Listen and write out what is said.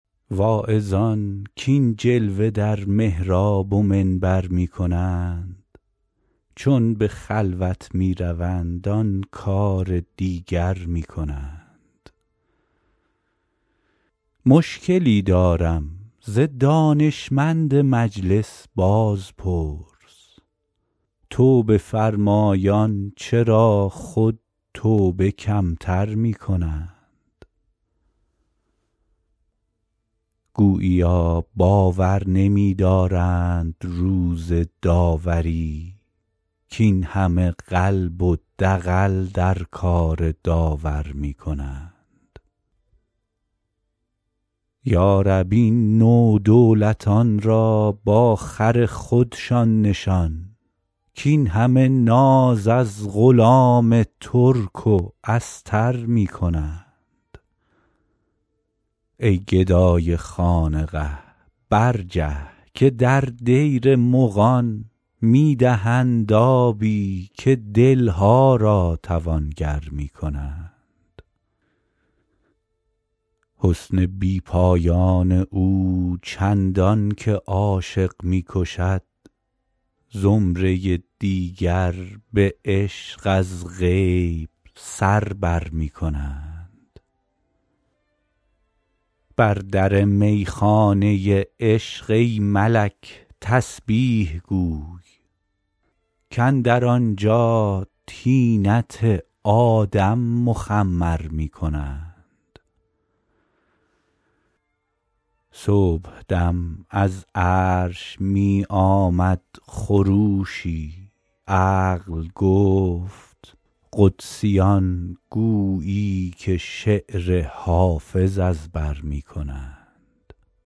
واعظان کاین جلوه در محراب و منبر می کنند چون به خلوت می روند آن کار دیگر می کنند مشکلی دارم ز دانشمند مجلس بازپرس توبه فرمایان چرا خود توبه کم تر می کنند گوییا باور نمی دارند روز داوری کاین همه قلب و دغل در کار داور می کنند یا رب این نودولتان را با خر خودشان نشان کاین همه ناز از غلام ترک و استر می کنند ای گدای خانقه برجه که در دیر مغان می دهند آبی و دل ها را توانگر می کنند حسن بی پایان او چندان که عاشق می کشد زمره دیگر به عشق از غیب سر بر می کنند بر در می خانه عشق ای ملک تسبیح گوی کاندر آنجا طینت آدم مخمر می کنند صبح دم از عرش می آمد خروشی عقل گفت قدسیان گویی که شعر حافظ از بر می کنند